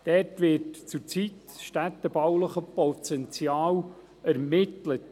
Dort wird zurzeit das städtebauliche Potenzial ermittelt.